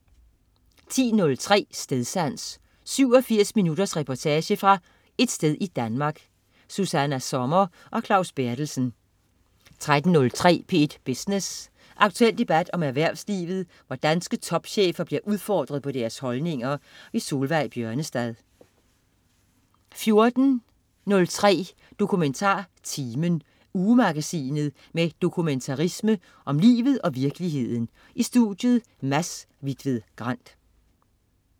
10.03 Stedsans. 87 minutters reportage fra et sted i Danmark. Susanna Sommer og Claus Berthelsen 13.03 P1 Business. Aktuel debat om erhvervslivet, hvor danske topchefer bliver udfordret på deres holdninger. Solveig Bjørnestad 14.03 DokumentarTimen. Ugemagasinet med dokumentarisme om livet og virkeligheden. I studiet: Mads Hvitved Grand